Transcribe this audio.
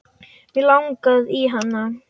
Mig langaði í hana.